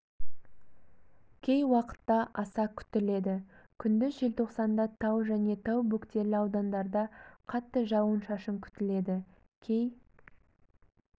кей уақытта аса күтіледі күндіз желтоқсанда тау және тау бөктерлі аудандарда қатты жауын-шашын күтіледі кей